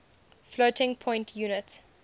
floating point unit